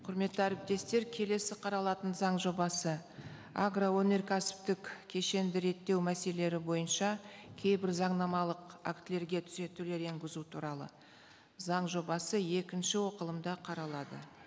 құрметті әріптестер келесі қаралатын заң жобасы агроөнеркәсіптік кешенді реттеу мәселелері бойынша кейбір заңнамалық актілерге түзетулер енгізу туралы заң жобасы екінші оқылымда қаралады